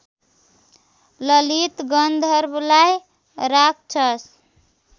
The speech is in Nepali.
ललित गन्धर्वलाई राक्षस